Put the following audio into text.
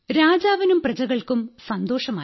രാജാവിനും പ്രജകൾക്കും സന്തോഷമായി